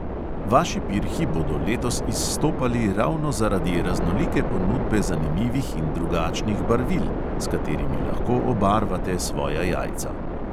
Vaši pirhi bodo letos izstopali ravno zaradi raznolike ponudbe zanimivih in drugačnih barvil, s katerimi lahko obarvate svoja jajca.